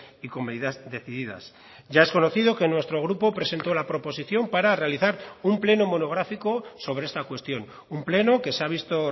y con medidas decididas ya es conocido que nuestro grupo presentó la proposición para realizar un pleno monográfico sobre esta cuestión un pleno que se ha visto